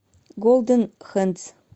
голден хэндс